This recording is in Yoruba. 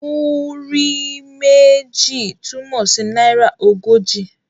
Múrí méjì' túmọ̀ sí náírà ogójì.